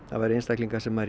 væru einstaklingar sem